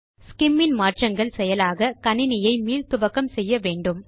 ஸ்சிம் இன் மாற்றங்கள் செயலாக கணினியை மீள்துவக்கம் செய்ய வேண்டும்